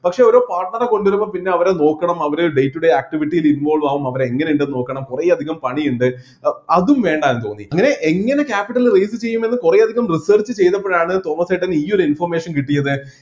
പക്ഷെ ഓരോ partner റെ കൊണ്ടുവരുമ്പോൾ പിന്നെ അവരെ നോക്കണം അവരെ day to day activity ൽ involve ആവും അവരെ എങ്ങനെയുണ്ട് എന്ന് നോക്കണം കുറെ അധികം പണിയിണ്ട് ഏർ അതും വേണ്ടായെന്ന് തോന്നി അങ്ങനെ എങ്ങനെ capital raise ചെയ്യുമെന്ന് കുറെ അധികം research ചെയ്‌തപ്പോഴാണ്‌ തോമസ് ചേട്ടൻ ഈ ഒരു information കിട്ടിയത്